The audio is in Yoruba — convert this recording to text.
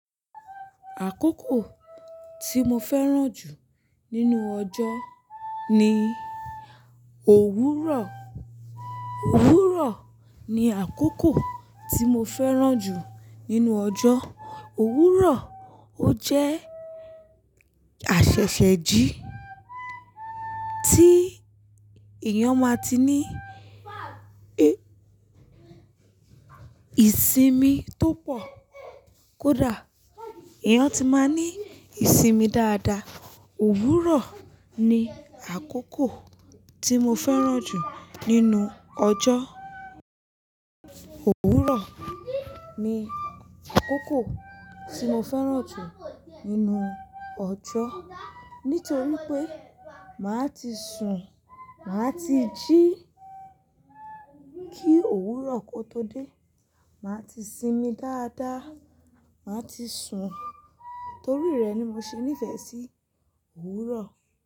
Àkókò tí mo fẹ́ràn jù nínú ọjọ́ ni òwúrọ̀. Òwúrọ̀ ni àkókò tí mo fẹ́ràn jù nínú ọjọ́. Òwúrọ̀, ó jẹ́ àṣẹ̀ṣẹ̀jí tí èèyàn máa ti ní ìsinmi tó pọ̀. Kódà èèyàn ti máa ní ìsinmi dáadáa. Òwúrọ̀ ni àkókò tí mo fẹ́ràn jù nínú ọjọ́. Òwúrọ̀ ni àkókò tí mo fẹ́ràn jù nínú ọjọ́. Nítorí pé màá ti sùn, màá ti jí kí òwúrọ̀ kó tó dé. Màá ti sinmi dáadáa, màá ti sùn. Torí rẹ̀ ni mo ṣe nífẹ̀ẹ́ sí òwúrọ̀.